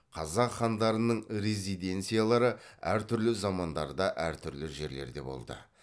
қазақ хандарының резиденциялары әртүрлі замандарда әртүрлі жерлерде болды